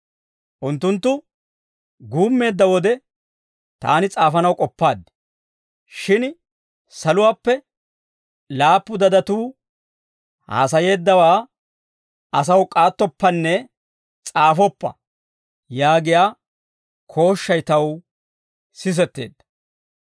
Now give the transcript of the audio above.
Unttunttu guummeedda wode taani s'aafanaw k'oppaad. Shin saluwaappe, «Laappu guuguntsatuu haasayeeddawaa asaw k'aattoppanne s'aafoppa» yaagiyaa kooshshay taw sisetteedda.